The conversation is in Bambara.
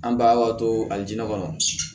An bagatɔ alijinɛ kɔnɔ